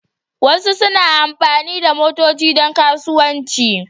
Wasu suna amfani da motoci don kasuwanci.